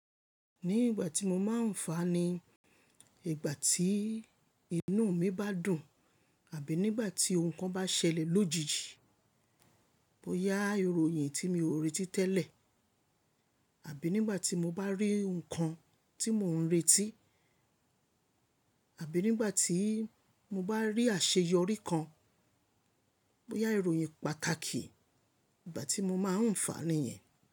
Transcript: Ní ìgbà tí mo máa ń fàní, ìgbà tí inú mi bá dùn, àbí nígbà tí ohun kan bá ṣẹlẹ̀ lójijì, boyá ìròyìn tí mi ò retí tẹ́lẹ̀, àbí nígbà tí mo bá rí nǹkan tí mò ń retí, àbí nígbà tí mo bá rí àṣeyọrí kan, boya ìròyìn pàtàkì ìgbà tí mo máa ń fàní yẹn.